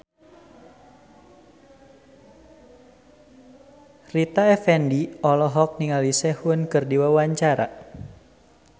Rita Effendy olohok ningali Sehun keur diwawancara